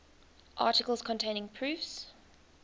articles containing proofs